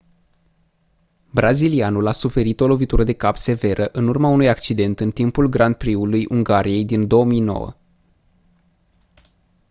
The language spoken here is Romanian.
brazilianul a suferit o lovitură de cap severă în urma unui accident în timpul grand prix-ului ungariei din 2009